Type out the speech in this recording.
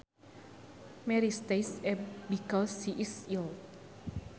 Mary stays abed because she is ill